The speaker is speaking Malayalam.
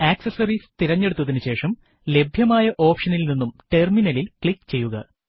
ആക്സസറീസ് തിരഞ്ഞെടുത്തതിനുശേഷം ലഭ്യമായ ഓപ്ഷനിൽ നിന്നും ടെർമിനലിൽ ക്ലിക്ക് ചെയ്യുക